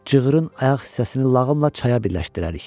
Cığırın ayaq hissəsini lağımla çaya birləşdirərik.